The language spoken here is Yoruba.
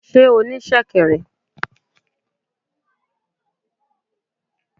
Sé o ní sèkèrè?